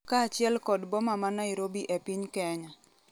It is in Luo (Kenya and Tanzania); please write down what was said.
kaachiel kod boma ma Nairobi e piny Kenya